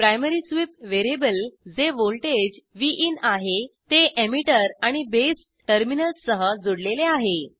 primary sweep variable जे voltage विन आहे ते एमिटर आणि बेस टर्मिनल्ससह जुडलेले आहे